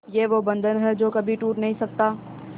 ये वो बंधन है जो कभी टूट नही सकता